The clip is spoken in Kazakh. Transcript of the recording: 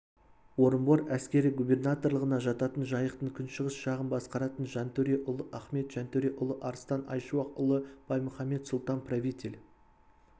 орынбор әскери губернаторлығына жататын жайықтың күншығыс жағын басқаратын жантөре ұлы ахмет жантөре ұлы арыстан айшуақ ұлы баймұхамед сұлтан-правитель